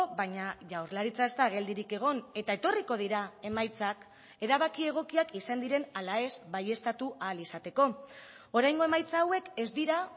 baina jaurlaritza ez da geldirik egon eta etorriko dira emaitzak erabaki egokiak izan diren ala ez baieztatu ahal izateko oraingo emaitza hauek ez dira